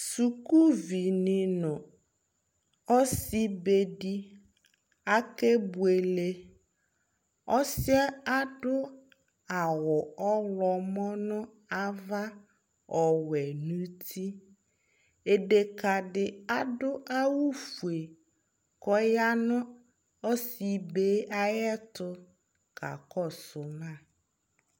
suku vi ni no ɔsi be di akebuele ɔsi yɛ adu awu ɔwlɔmɔ no ava ɔwɛ n'uti deka di adu awu fue k'ɔya no ɔsi be yɛ ayi ɛto ka kɔsu ma